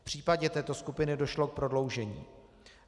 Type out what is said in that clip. V případě této skupiny došlo k prodloužení.